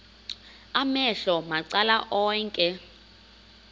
amehlo macala onke